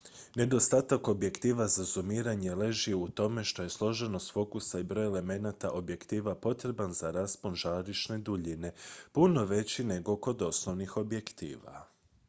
nedostatak objektiva za zumiranje leži u tome što je složenost fokusa i broj elemenata objektiva potreban za raspon žarišne duljine puno veći nego kod osnovnih objektiva